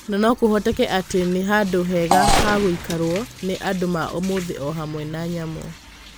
Na no kũvoteke atĩ ni vandũ vega va gũikaruo nĩ andũ ma ũmũthĩ o hamwe na nyamũ".